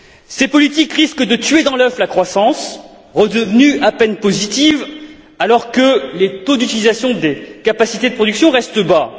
Ces politiques risquent de tuer dans l'œuf la croissance, redevenue à peine positive, alors que les taux d'utilisation des capacités de production restent bas.